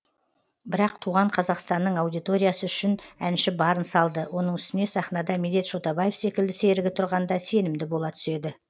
бірақ туған қазақстанның аудиториясы үшін әнші барын салды оның үстіне сахнада медет шотабаев секілді серігі тұрғанда сенімді бола түседі